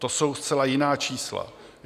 To jsou zcela jiná čísla.